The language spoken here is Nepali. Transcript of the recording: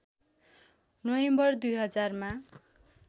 नोभेम्बर २००० मा